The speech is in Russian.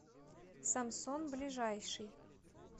самсон ближайший